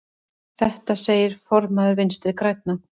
Þetta segir formaður Vinstri grænna.